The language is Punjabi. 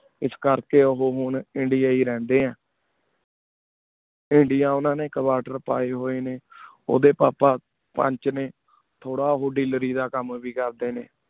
ਇਸ ਕੇਰ ਕੀ ਓਹੋ ਹੋਣ ਇੰਡੀਆ ਹੀ ਰੇਹ੍ਨ੍ਡੇ ਆ ਇੰਡੀਆ ਓਨਾ ਨੀ couter ਪਾਏ ਹੋਏ ਨੀ ਓਦੇ ਪਾਪਾ ਪੰਚ ਨੀ ਤੋਰਾ ਊ ਦਿਲ੍ਰੀ ਦਾ ਕਾਮ ਵੀ ਕੇਰ ਦੇ ਨੀ